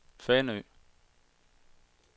Fanø